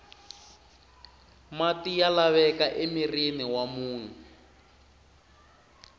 mati ya laveka emirhini wa munhu